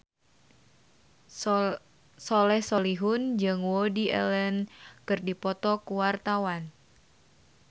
Soleh Solihun jeung Woody Allen keur dipoto ku wartawan